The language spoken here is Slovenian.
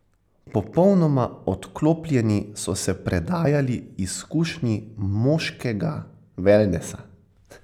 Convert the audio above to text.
Popolnoma odklopljeni so se predajali izkušnji moškega velnesa.